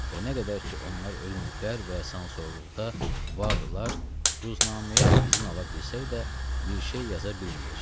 Və nə qədər ki onlar ölməyiblər və sansorluqda vardılar, ruznaməyə izin ala bilsək də, bir şey yaza bilməyəcəyik.